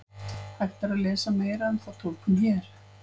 Hægt er að lesa meira um þá túlkun hér.